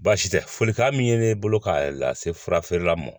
Baasi tɛ folikan min ye ne bolo ka lase fura feerela ma